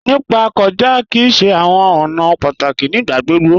Nípa kọja kí í ṣè àwọn ọ̀nà pátákí nígbàgbogbo.